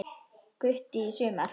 Gutti í sumar.